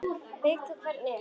Veit hver þú ert.